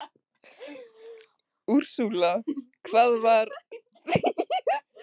Úrsúla: Hvað var það ekki einu sinni í mánuði?